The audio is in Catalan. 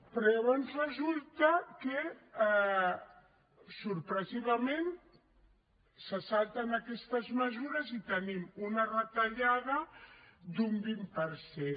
però llavors resulta que sorprenentment se salten aquestes mesures i tenim una retallada d’un vint per cent